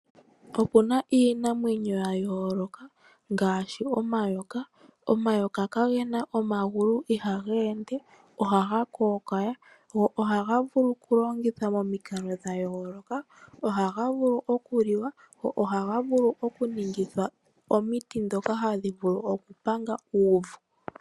Opuna iinamwenyo ya yoloka ngaashi omayoka. Omayoka kagena omagulu ohaga ende ,ohaga kokawa gwo ohaga vulu oku longithwa momikalo dha yooloka ,ohaga vulu oku liwa gwo ohaga vulu okuningithwa omiti dhoka hadhivulu okupanga uuvu.